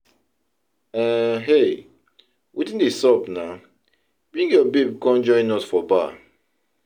um Hey! Wetin dey sup naa, bring your babe come join us for bar